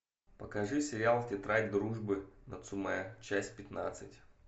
покажи сериал тетрадь дружбы нацумэ часть пятнадцать